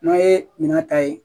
N'a ye minɛn ta ye